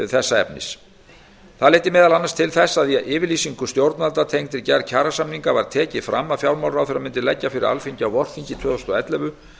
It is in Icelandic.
þessa efnis það leiddi meðal annars til þess að í yfirlýsingu stjórnvalda tengdri gerð kjarasamninga var tekið fram að fjármálaráðherra mundi leggja fyrir alþingi á vorþingi tvö þúsund og ellefu